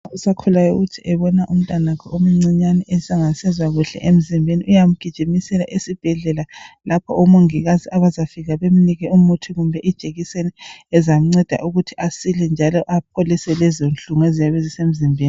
osakhulayo ukuthi abone umntanakhe engasezwa kuhle emzimbeni uyamgijimisela esibhedlela lapha omongikazi abazafika bemnike umuthi kumbe ijekiseni ezamnceda ukuthi asile njalo aphilise lezo nhlungu ezisemzimbeni